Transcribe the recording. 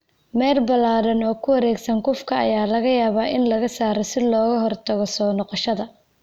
Meel ballaadhan oo ku wareegsan cufka ayaa laga yaabaa in laga saaro si looga hortago soo noqoshada.